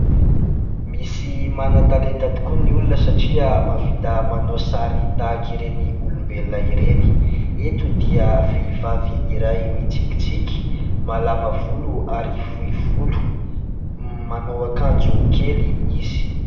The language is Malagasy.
Misy manan-talenta tokoa ny olona satria mahavita manao sary tahaka ireny olombelona ireny. Eto dia vehivavy iray mitsikitsiky, malama volo ary fohy volo, manao akanjo kely izy.